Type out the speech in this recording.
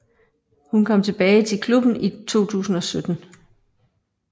Hun kom tilbage til klubben i 2017